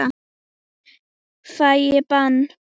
Fæ ég bann?